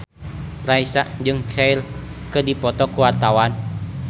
Raisa jeung Cher keur dipoto ku wartawan